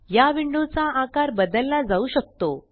या विंडो चा आकार बदलला जाऊ शकतो